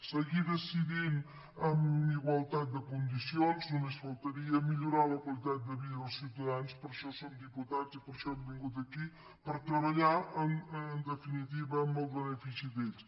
seguir decidint en igualtat de condicions només faltaria millorar la qualitat de vida dels ciutadans per a això som diputats i per això hem vingut aquí per treballar en definitiva en el benefici d’ells